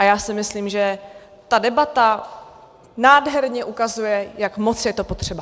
A já si myslím, že ta debata nádherně ukazuje, jak moc je to potřeba.